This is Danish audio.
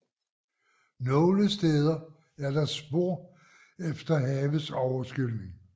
Nogle steder er der spor efter havets overskyldning